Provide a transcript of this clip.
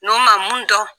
N'o ma mun dɔn